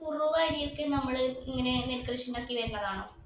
ഈ കുറുവ അരി ഒക്കെ നമ്മൾ ഇങ്ങനെ നെൽകൃഷി ഉണ്ടാക്കി വരുന്നതാണോ